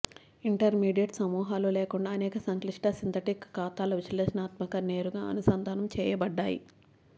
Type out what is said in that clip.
intermediate సమూహాలు లేకుండా అనేక సంక్లిష్ట సింథటిక్ ఖాతాల విశ్లేషణాత్మక నేరుగా అనుసంధానం చేయబడ్డాయి